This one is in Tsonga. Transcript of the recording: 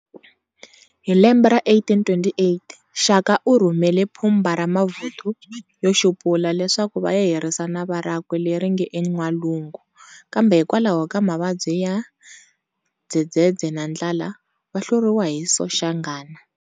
Hi lembe ra 1828, Shaka urhumele phumba ra mavuthu yo xupula, leswaku vaya herisa nava rakwe leri nge en'walungu, kambe hikwalaho ka mavabyi bya Dzedzedze na ndlala, va hluriwile hi Soshanghana.